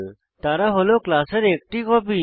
তারা হল ক্লাসের একটি কপি